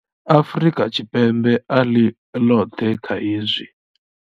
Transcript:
Afrika Tshipembe a ḽi ḽoṱhe kha hezwi.